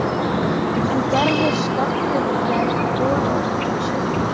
En gerði skjálftinn í gær boð á undan sér?